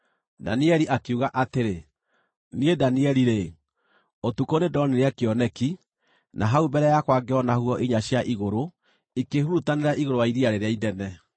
Danieli akiuga atĩrĩ: “Niĩ Danieli-rĩ, ũtukũ nĩndonire kĩoneki, na hau mbere yakwa ngĩona huho inya cia igũrũ ikĩhurutanĩra igũrũ wa iria rĩrĩa inene.